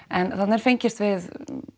en þarna er fengist við